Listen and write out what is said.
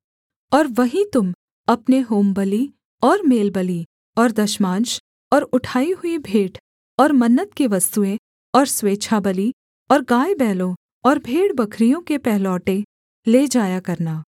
और वहीं तुम अपने होमबलि और मेलबलि और दशमांश और उठाई हुई भेंट और मन्नत की वस्तुएँ और स्वेच्छाबलि और गायबैलों और भेड़बकरियों के पहलौठे ले जाया करना